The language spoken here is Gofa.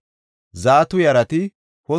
Azgada yarati 2,322;